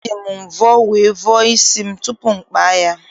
E ji m mvọ wee vọọ isi m tupu m kpaa ya.